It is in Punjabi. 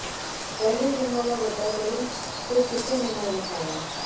ਪਹਿਲੇ ਦਿਨ ਵਾਲਾ ਵੱਡਾ ਦਿਲ ਫਿਰ ਕਿਸੇ ਨੇ ਨਾ ਵਿਖਾਇਆ